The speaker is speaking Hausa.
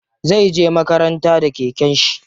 Zai je makaranta da keken shi.